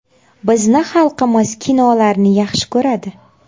Bizni xalqimiz kinolarni yaxshi ko‘radi.